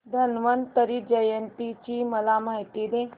धन्वंतरी जयंती ची मला माहिती दे